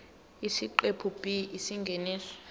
isiqephu b isingeniso